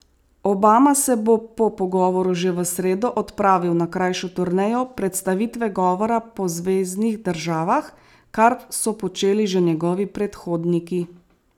Obama se bo po govoru že v sredo odpravil na krajšo turnejo predstavitve govora po zveznih državah, kar so počeli že njegovi predhodniki.